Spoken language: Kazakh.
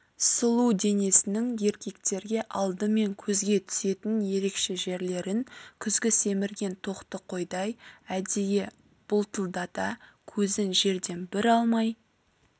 сұлу денесінің еркектерге алдымен көзге түсетін ерекше жерлерін күзгі семірген тоқты қойдай әдейі бұлтылдата көзін жерден бір алмай